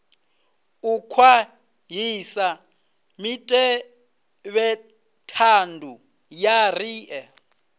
u khwaṱhisa mutevhethandu wa riṋe